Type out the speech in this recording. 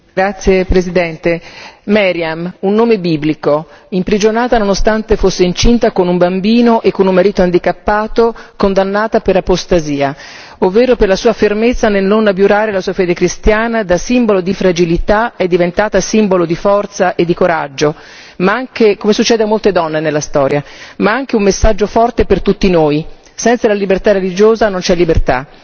Signora Presidente, onorevoli colleghi, Meriam un nome biblico imprigionata nonostante fosse incinta, con un bambino e con un bambino handicappato, condannata per apostasia, ovvero per la sua fermezza nel non violare la sua fede cristiana, da simbolo di fragilità è diventata simbolo di forza e di coraggio come succede a molte donne nella storia ma anche un messaggio forte per tutti noi senza la libertà religiosa non c'è libertà.